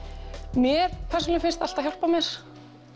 mér persónulega finnst það alltaf hjálpa mér